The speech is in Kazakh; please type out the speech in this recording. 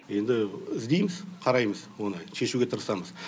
енді іздейміз қараймыз оны шешуге тырысамыз